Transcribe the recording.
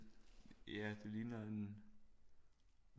Ja det ligner en